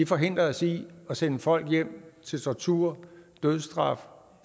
forhindrer os i at sende folk hjem til tortur dødsstraf